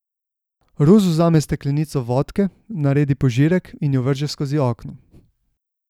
Rus vzame steklenico vodke, naredi požirek in jo vrže skozi okno.